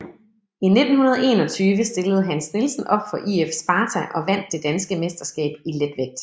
I 1921 stillede Hans Nielsen op for IF Sparta og vandt det danske mesterskab i letvægt